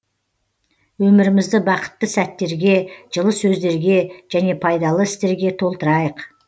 өмірімізді бақытты сәттерге жылы сөздерге және пайдалы істерге толтырайық